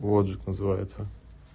отжиг называется